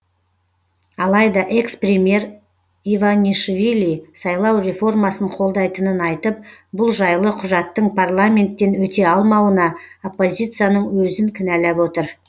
алайда экс премьер иванишвили сайлау реформасын қолдайтынын айтып бұл жайлы құжаттың парламенттен өте алмауына оппозицияның өзін кінәлап отыр